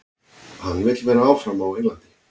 Hann vill vera áfram á Englandi.